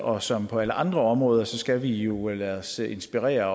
og som på alle andre områder skal vi jo lade os inspirere